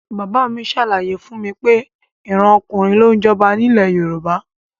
Bàbá mi ṣàlàyé fún mi pé ìran ọkùnrin ló ń jọba ní ilẹ̀ Yorùbá